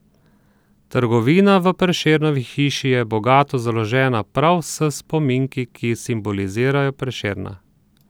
Trgovina v Prešernovi hiši je bogato založena prav s spominki, ki simbolizirajo Prešerna.